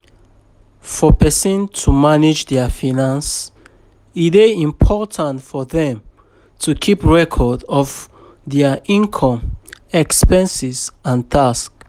For person to manage their finances e dey important for them to keep record of their inome, expenses and tax